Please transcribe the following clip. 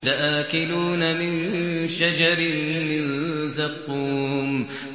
لَآكِلُونَ مِن شَجَرٍ مِّن زَقُّومٍ